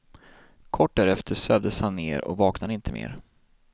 Kort därefter sövdes han ner och vaknade inte mer.